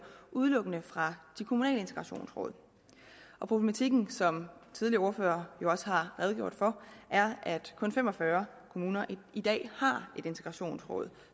udelukkende fra de kommunale integrationsråd og problematikken som tidligere ordførere også har redegjort for er at kun fem og fyrre kommuner i dag har et integrationsråd